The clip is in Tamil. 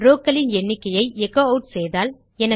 rowக்களின் எண்ணிக்கையை எச்சோ ஆட் செய்தால்